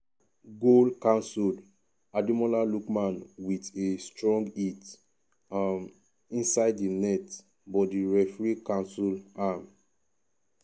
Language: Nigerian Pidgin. goal cancelled.ademola lookman wit a strong hit um inside di net but di referee cancel um am.